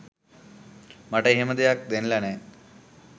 මට එහෙම දෙයක් දැනිලා නෑ.